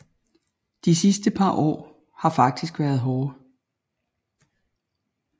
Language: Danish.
De sidste par år har faktisk været hårde